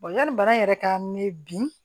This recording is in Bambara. yanni bana yɛrɛ ka mɛ bi